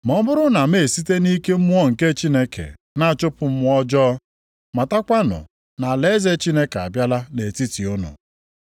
Ma ọ bụrụ na m na-esite nʼike Mmụọ nke Chineke na-achụpụ mmụọ ọjọọ, matakwanụ na alaeze Chineke abịala nʼetiti unu.